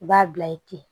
U b'a bila ye ten